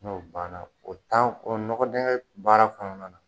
N'o banna o tan kɔ, nɔgɔ dɛnkɛ baara kɔnɔna na.